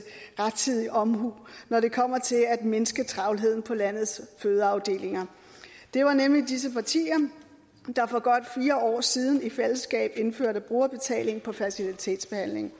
rettidig omhu når det kommer til at mindske travlheden på landets fødeafdelinger det var nemlig disse partier der for godt fire år siden i fællesskab indførte brugerbetaling på fertilitetsbehandling